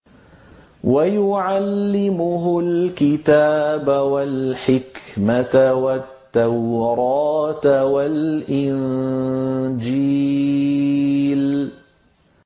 وَيُعَلِّمُهُ الْكِتَابَ وَالْحِكْمَةَ وَالتَّوْرَاةَ وَالْإِنجِيلَ